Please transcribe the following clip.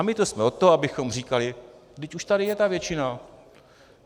A my tu jsme od toho, abychom říkali: vždyť už tady je ta většina.